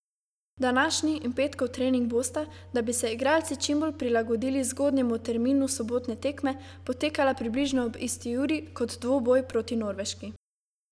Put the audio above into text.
Današnji in petkov trening bosta, da bi se igralci čim bolj prilagodili zgodnjemu terminu sobotne tekme, potekala približno ob isti uri, kot dvoboj proti Norveški.